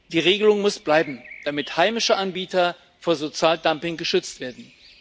Die Regelung muss bleiben, damit heimische Anbieter vor Sozialdumping geschützt werden.